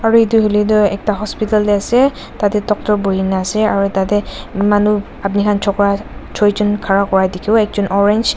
aro etu koile tu ekta hospital de ase tate doctor buina ase aro tate manu apni kan chokra joijun ghara kura dikibo ekjun orange .